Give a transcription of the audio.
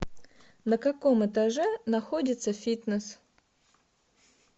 на каком этаже находится фитнес